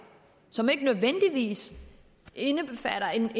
som ikke nødvendigvis indbefatter en